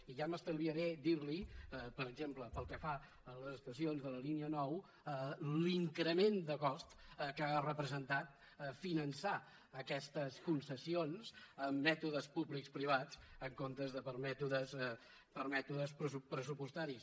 i ja m’estalviaré dir li per exemple pel que fa a les estacions de la línia nou l’increment de cost que ha representat finançar aquestes concessions amb mètodes públics privats en comptes de per mètodes pressupostaris